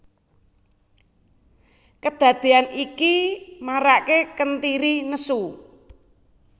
Kedadean iki marake Kentiri nesu